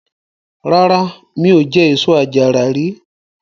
Rárá, mi ò jẹ èso àjàrà rí.